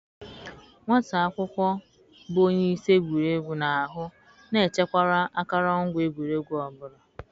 Nwata akwụkwọ bụ onye isi egwuregwu na-ahụ na echekwara akụrụngwa egwuregwu ọ bụla.